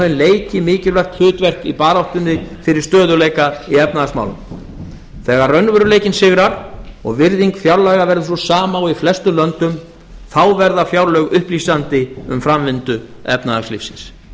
leiki mikilvægt hlutverk í baráttunni fyrir stöðugleika í efnahagsmálum þegar raunveruleikinn sigrar og virðing fjárlaga verður sú sama og í flestum löndum þá verða fjárlög upplýsandi um framvindu efnahagslífsins